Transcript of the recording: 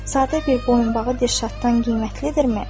Sadə bir boyunbağı Dirşaddan qiymətlidirmi?